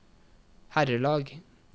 herrelag